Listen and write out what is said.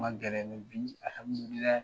Kun ka gɛlɛn bi